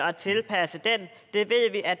og tilpasse den